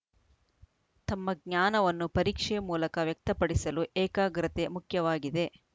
ತಮ್ಮ ಜ್ಞಾನವನ್ನು ಪರೀಕ್ಷೆ ಮೂಲಕ ವ್ಯಕ್ತಪಡಿಸಲು ಏಕಾಗ್ರತೆ ಮುಖ್ಯವಾಗಿದೆ